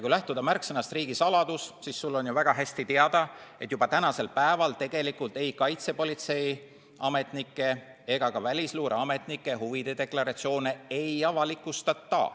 Kui lähtuda märksõnast "riigisaladus", siis sulle on ju väga hästi teada, et juba tänasel päeval tegelikult ei kaitsepolitseiametnike ega ka välisluureametnike huvide deklaratsioone ei avalikustata.